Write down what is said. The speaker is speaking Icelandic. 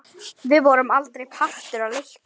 Við vorum aldrei partur af leiknum.